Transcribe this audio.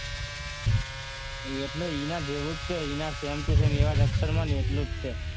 એના જેવું છે એના same to same અક્ષરમાં એટલું જ છે